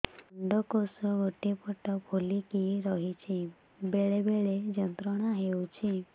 ଅଣ୍ଡକୋଷ ଗୋଟେ ପଟ ଫୁଲିକି ରହଛି ବେଳେ ବେଳେ ଯନ୍ତ୍ରଣା ହେଉଛି